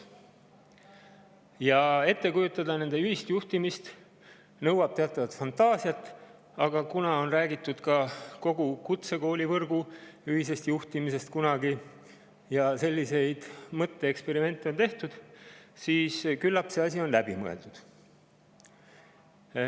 Nõuab teatavat fantaasiat, et nende ühist juhtimist ette kujutada, aga kuna räägitud on ka kogu kutsekoolivõrgu ühisest juhtimisest kunagi, selliseid mõtteeksperimente on tehtud, siis küllap on see asi läbi mõeldud.